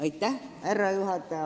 Austatud härra juhataja!